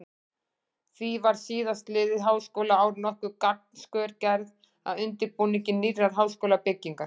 Því var síðastliðið háskólaár nokkur gangskör gerð að undirbúningi nýrrar háskólabyggingar.